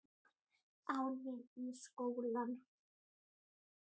Á leið í skóla.